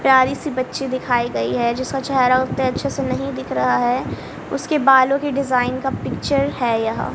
प्यारी सी बच्ची दिखाई गई है जिसका चेहरा उते अच्छे से नहीं दिख रहा है उसके बालों के डिजाइन का पिक्चर है यहाँ--